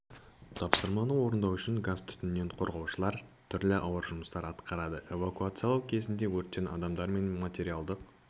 тапсырманы орындау үшін газ-түтіннен қорғаушылар түрлі ауыр жұмыстар атқарады эвакуациялау кезінде өрттен адамдар мен материалдық